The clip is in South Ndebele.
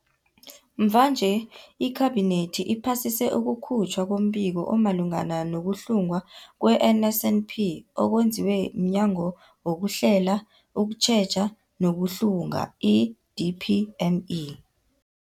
Mvanje, iKhabinethi iphasise ukukhutjhwa kombiko omalungana nokuhlungwa kwe-NSNP okwenziwe mNyango wezokuHlela, ukuTjheja nokuHlunga, i-DPME.